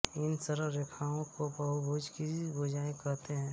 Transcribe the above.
इन सरल रेखाओं को बहुभुज की भुजा कहते हैं